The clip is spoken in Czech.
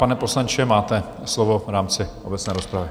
Pane poslanče, máte slovo v rámci obecné rozpravy.